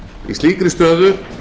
í slíkri stöðu